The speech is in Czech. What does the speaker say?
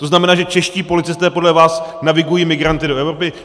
To znamená, že čeští policisté podle vás navigují migranty do Evropy?